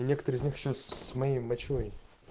и некоторые из них ещё с моей мочой